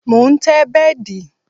Mo ń tẹ́ bẹ́dì